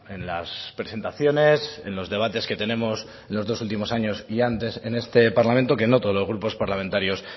en las presentaciones en los debates que tenemos en los dos últimos años y antes en este parlamento que no todos los grupos parlamentarios